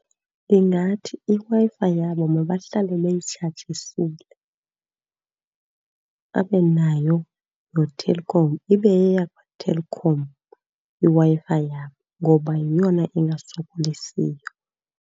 Ndingathi iWi-Fi yabo mabahlale beyitshajisile. Babe nayo noTelkom, ibe yeyakwaTelkom iWi-Fi yabo ngoba yeyona ingasokolisiyo.